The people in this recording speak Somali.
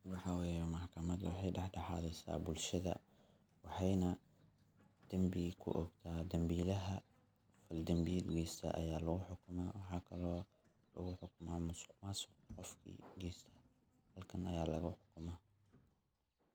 Waxa weyeh maxkamada waxay dax daxadisa bulshada, waxaynah dambiga kuogta dambilaha, qofki dambil geysta aya lagu xukuma waxa kale lagu xukuma masuq masuq qofki geysto halkan aya laga xukumah.